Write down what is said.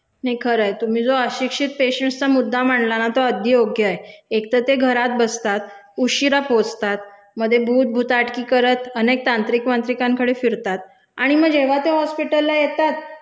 नाही खरंय. तुम्ही जो अशिक्षित पेशंटस् चा मुद्दा मांडला ना तो अगदी योग्य आहे. एकतर ते घरात बसतात, उशिरा पोहचतात मधे भूत भुताटकी करत अनेक तांत्रिक वांत्रीकांकडे फिरतात आणि म जेव्हा ते हॉस्पिटलला येतात